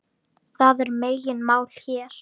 Það er megin mál hér.